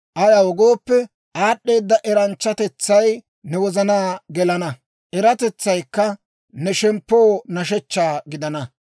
Ayaw gooppe, aad'd'eedda eratetsay ne wozanaa gelana; eratetsaykka ne shemppoo nashshechcha gidana.